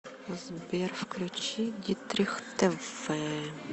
сбер включи дитрих тэ вэ